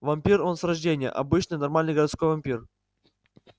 вампир он с рождения обычный нормальный городской вампир